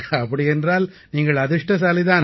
அப்படியென்றால் நீங்கள் அதிர்ஷ்டசாலி தான்